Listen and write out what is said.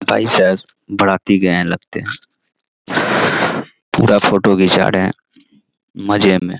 भाई साहब बराती गए हैं लगता है पूरा फ़ोटो घीचा रहें हैं मज़े में।